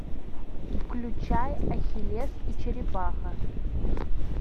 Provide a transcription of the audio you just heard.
включай ахиллес и черепаха